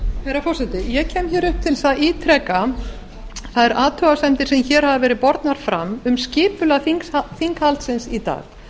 herra forseti ég kem upp til að ítreka þær athugasemdir sem hér hafa verið bornar fram um skipulag þinghaldsins í dag